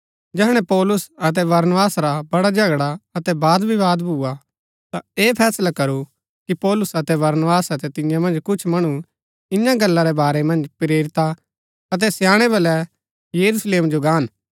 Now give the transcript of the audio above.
जैहणै पौलुस अतै बरनबास रा बड़ा झगड़ा अतै वादविवाद भुआ ता ऐह फैसला करू कि पौलुस अतै बरनबास अतै तियां मन्ज कुछ मणु इन्या गल्ला रै बारै मन्ज प्रेरिता अतै स्याणै वलै यरूशलेम जो गान